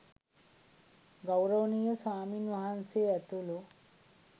ගෞරවනීය ස්වාමීන් වහන්සේ ඇතුළු